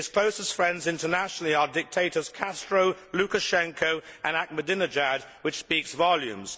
His closest friends internationally are dictators Castro, Lukashenko and Ahmadinejad, which speaks volumes.